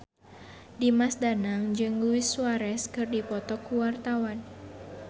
Dimas Danang jeung Luis Suarez keur dipoto ku wartawan